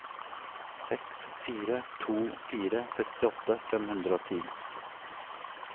seks fire to fire sekstiåtte fem hundre og ti